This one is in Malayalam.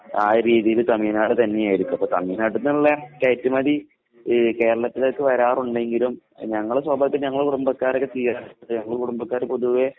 ആ ഒരു രീതിയില് തമിഴ്നാട് തന്നെ ആയിരിക്കും. അപ്പോൾ തമിഴ്നാട്ടിൽ നിന്നുള്ള കയറ്റുമതി ഈ കേരളത്തിലേക്ക് വരാറുണ്ടെങ്കിലും ഞങ്ങള് സ്വാഭാവികമായിട്ടും ഞങ്ങടെ കുടുംബക്കാരൊക്കെ ഈ ഞങ്ങടെ കുടുംബക്കാർ പൊതുവേ